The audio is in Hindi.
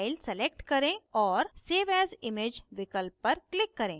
file select करें और save as image विकल्प पर click करें